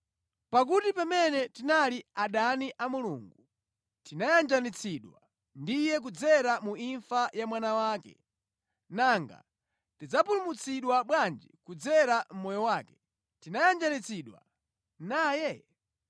Pakuti pamene tinali adani a Mulungu, tinayanjanitsidwa ndi Iye kudzera mu imfa ya Mwana wake. Nanga tidzapulumutsidwa bwanji kudzera mʼmoyo wake, titayanjanitsidwa naye?